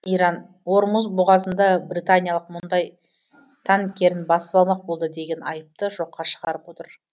иран ормұз бұғазында британиялық мұндай танкерін басып алмақ болды деген айыпты жоққа шығарып отыр